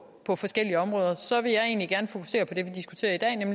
på forskellige områder så vil jeg egentlig gerne fokusere på det